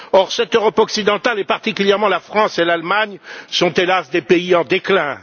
Or, cette Europe occidentale, et particulièrement la France et l'Allemagne, sont, hélas, des pays en déclin.